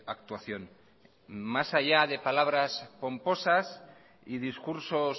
actuación más allá de palabras pomposas y discursos